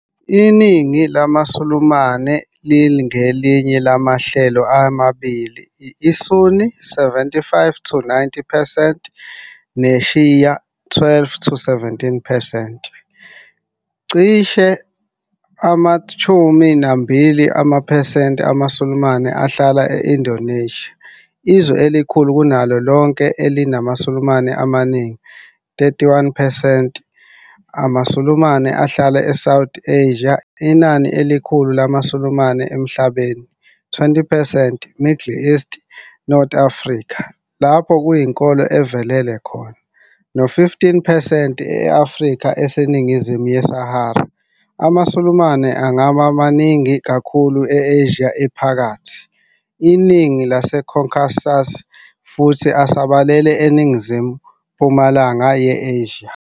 Iningi lamaSulumane lingelinye lamahlelo amabili, ISunni, 75-90 percent, neShia,12-17 percent. Cishe ama-12 percent amaSulumane ahlala e- Indonesia, izwe elikhulu kunawo lonke elinamaSulumane amaningi, 31 percent amaSulumane ahlala eSouth Asia, inani elikhulu lamaSulumane emhlabeni, 20 percent eMiddle East - North Africa, lapho kuyinkolo evelele khona, no-15 percent e-Afrika eseNingizimu yeSahara. AmaSulumane angabaningi kakhulu e-Asia Ephakathi, iningi laseCaucasus futhi asabalele eNingizimu-mpumalanga ye-Asia.